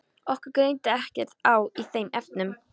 Okkur greindi ekkert á í þeim efnum.